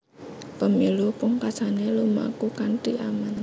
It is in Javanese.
Pemilu pungkasané lumaku kanthi aman